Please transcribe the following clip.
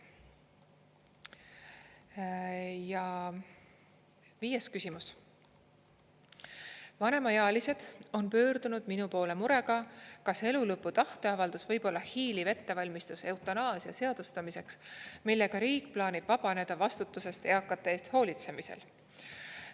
Ja viies küsimus: "Vanemaealised on pöördunud minu poole murega, kas elulõpu tahteavaldus võib olla hiiliv ettevalmistus eutanaasia seadustamiseks, millega riik plaanib vabaneda vastutusest eakate eest hoolitsemisel.